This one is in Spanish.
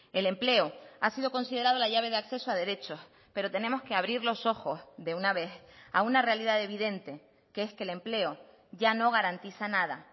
el empleo ha sido considerado la llave de acceso a derechos pero tenemos que abrir los ojos de una vez a una realidad evidente que es que el empleo ya no garantiza nada